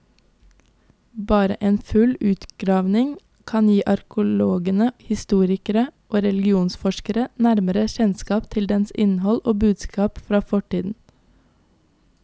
Bare en full utgravning kan gi arkeologene, historikere og religionsforskere nærmere kjennskap til dens innhold og budskap fra fortiden.